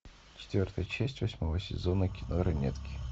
четвертая часть восьмого сезона кино ранетки